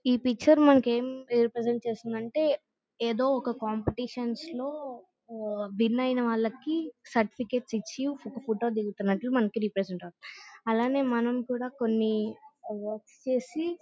ఈ పిక్చర్ మనకి ఎం ప్రెసెంట్ చేసిందంటే ఏదో ఒక కంపిటిషన్స్ లో విన్ ఐన వల్కి సర్టిఫికెట్స్ ఇచ్చి ఫోటో దిగుతున్నట్టు మంకు రెప్రెసెంత్ అవుతుంది. అలాగే మనము కూడా కొన్ని వర్క్స్ చేసి--